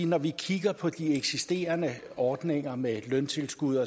når vi kigger på de eksisterende ordninger med løntilskud